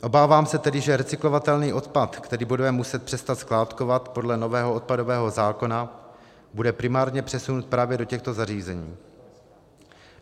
Obávám se tedy, že recyklovatelný odpad, který budeme muset přestat skládkovat podle nového odpadového zákona, bude primárně přesunut právě do těchto zařízení.